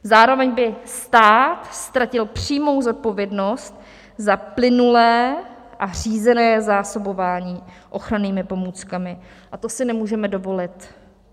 Zároveň by stát ztratil přímou zodpovědnost za plynulé a řízené zásobování ochrannými pomůckami a to si nemůžeme dovolit.